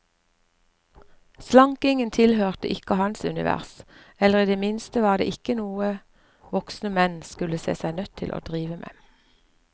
Slankingen tilhørte ikke hans univers, eller i det minste var det ikke noe voksne menn skulle se seg nødt til å drive med.